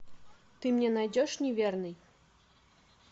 ты мне найдешь неверный